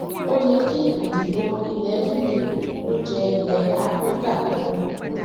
ó yẹ kí ìdìbò ilẹ uk ó jẹ ilẹ áfíríkà lógún